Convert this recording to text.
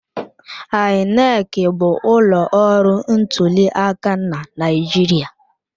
INEC bụ ụlọ ọrụ ntuliaka na Naịjirịa.